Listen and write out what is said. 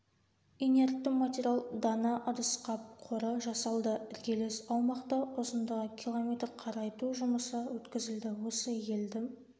инертті материал дана ыдысқап қоры жасалды іргелес аумақта ұзындығы км қарайту жұмысы өткізілді осы елді